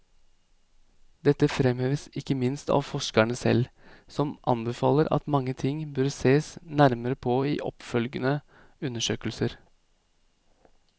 Dette fremheves ikke minst av forskerne selv, som anbefaler at mange ting bør sees nærmere på i oppfølgende undersøkelser.